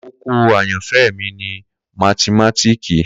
Koko ayanfẹ mi ni mathimatiki